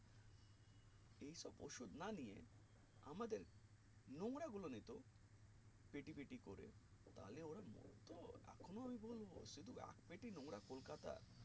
সুদ না নিয়ে আমাদের নোংরা গুলো নিতো পেটি পেটি করে তাহলে ওরা মরতো এখনো আমি বলবো শুধু এক পেটি নোংরা কলকাতার